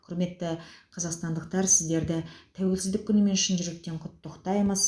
құрметті қазақстандықтар сіздерді тәуелсіздік күнімен шын жүректен құттықтаймыз